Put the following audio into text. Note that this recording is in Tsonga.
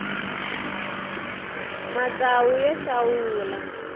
matsawu ya xawula